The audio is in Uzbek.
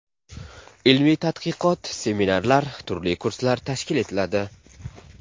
Ilmiy-tadqiqot, seminarlar, turli kurslar tashkil etiladi.